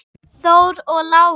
Þór og Lára.